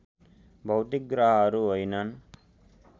भौतिक ग्रहहरू होइनन्